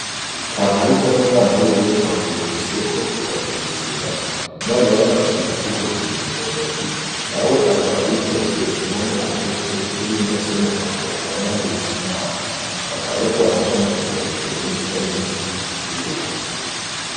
kamariza n'umwana wiwe bavuye kw'isoko bavuye gusuma umwana wiwe akaba afise udufuko tubiri muntoke nawe akaba yikoreye inkono kumutwe n'ibindi afise muntoke akaba anahetse umwana. Bakaba bariko baraca mukayira k'ikirundi kari munsi y'urugo.